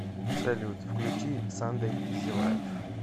салют включи сандэй изи лайф